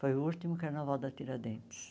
Foi o último carnaval da Tiradentes.